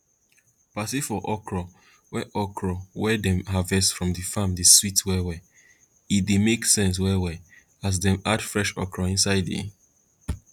party for okro wey okro wey dem harvest from farm dey sweet well well e dey make sense well well as dem add fresh okro inside the